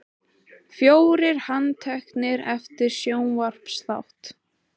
Fjórir handteknir eftir sjónvarpsþátt